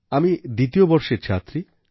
আমি দ্বিতীয় বর্ষের ছাত্রী